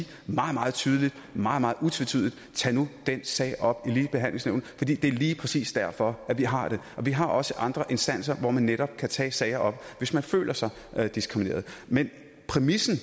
meget meget tydeligt og meget meget utvetydigt tag nu den sag op i ligebehandlingsnævnet fordi det er lige præcis derfor vi har det vi har også andre instanser hvor man netop kan tage sager op hvis man føler sig diskrimineret men præmissen